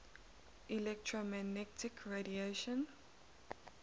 electromagnetic radiation